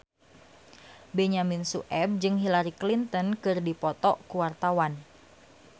Benyamin Sueb jeung Hillary Clinton keur dipoto ku wartawan